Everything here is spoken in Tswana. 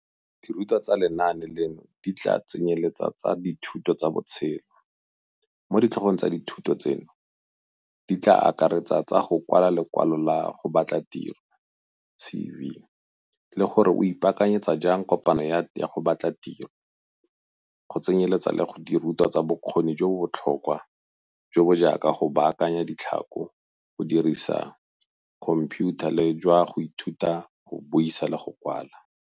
Dirutwa tsa lenaane leno di tla tsenyeletsa tsa dithuto tsa botshelo - mo ditlhogo tsa dithuto tseno di tla akaretsang tsa go kwala lekwalo la go batla tiro, CV, le gore o ipaakanyetsa jang kopano ya go batla tiro, go tsenyeletsa le dirutwa tsa bokgoni jo bo botlhokwa, jo bo jaaka go baakanya ditlhako, go dirisa khomphiutha le jwa go ithuta go buisa le go kwala.